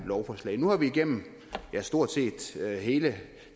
lovforslaget nu er det gennem stort set hele